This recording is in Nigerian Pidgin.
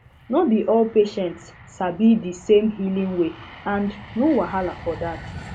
no be all patients sabi di same healing way and no wahala for dat